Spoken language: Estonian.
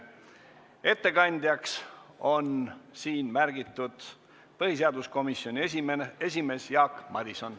Ettekandjaks on märgitud põhiseaduskomisjoni esimees Jaak Madison.